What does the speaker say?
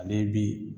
Ale bi